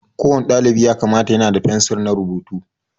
Ko wani dalibi ya kamata yana da fensir na rubutu